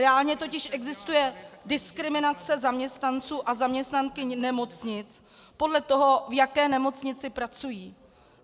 Reálně totiž existuje diskriminace zaměstnanců a zaměstnankyň nemocnic podle toho, v jaké nemocnici pracují.